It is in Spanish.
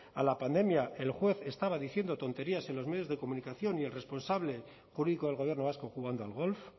a la pandemia el juez estaba diciendo tonterías en los medios de comunicación y el responsable jurídico el gobierno vasco jugando al golf